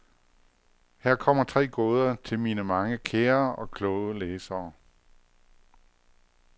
Her kommer tre gåder til mine mange kære og kloge læsere.